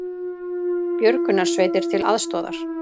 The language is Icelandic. Björgunarsveitir til aðstoðar